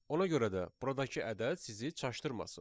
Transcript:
Ona görə də buradakı ədəd sizi çaşdırmasın.